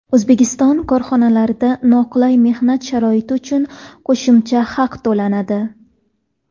O‘zbekiston korxonalarida noqulay mehnat sharoiti uchun qo‘shimcha haq to‘lanadi.